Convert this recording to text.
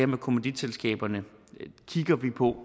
med kommanditselskaberne kigger vi på